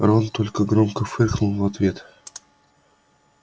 рон только громко фыркнул в ответ